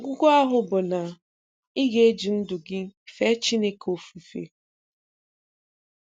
Ọgwụgwụ ahụ bụ na ị ga-eji ndụ gị fee Chineke ofufe.